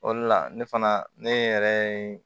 O de la ne fana ne yɛrɛ ye